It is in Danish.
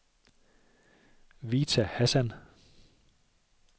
Vita Hassan